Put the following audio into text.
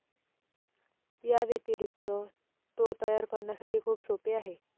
याव्यतिरिक्त, तो तयार करण्यासाठी खूप सोपे आहे.